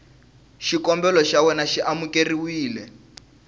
xikombelo xa wena xi amukeriwile